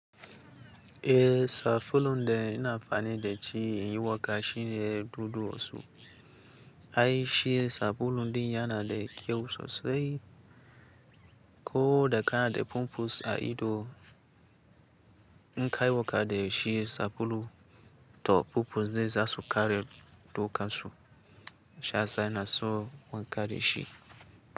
Eh sabulu da ina amfani da ci inyi wanka shine dudu osun. Ai shi sabulu din yana da kyau sosai ko da kana da pumpus a ido. Im ka yi wanka da shi sabulu to pupus din za su kare dukan su shi ya sa ina so wanka da shi.